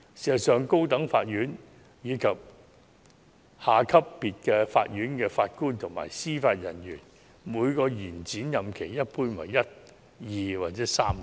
事實上，高等法院以下級別法院的法官及司法人員，每個延展任期一般為1年、2年或3年。